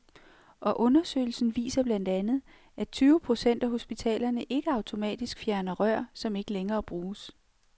Og undersøgelsen viser blandt andet, at tyve procent af hospitalerne ikke automatisk fjerner rør, som ikke længere bruges.